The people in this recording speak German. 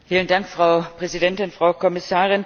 Frau Präsidentin, Frau Kommissarin!